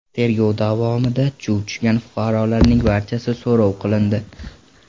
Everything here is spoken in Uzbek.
Tergov davomida chuv tushgan fuqarolarning barchasi so‘roq qilindi.